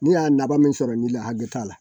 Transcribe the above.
Ni y'a laban min sɔrɔ nin la hakɛ t'a la